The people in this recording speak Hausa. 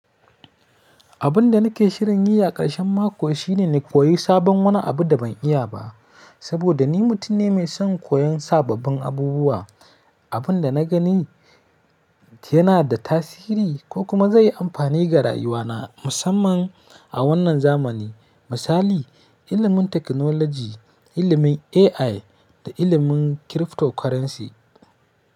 Abin da nake shirin yi a ƙarshen mako shi ne na koyi sabon wani abu da ban iya ba. Saboda ni mutum ne mai son koyon sababbin abubuwa, abin da na gani yana da tasiri ko kuma ze yi amfani a rayuwa na, musamman a wannan zamani. Misali, ilimin teknoloji, ilimin AI da ilimin cryptocurrency.